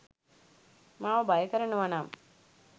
මාව භය කරනවා නම්